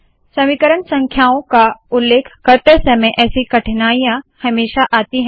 समीकरण संख्याओं का उल्लेख करते समय ऐसी कठिनाइयां हमेशा आती है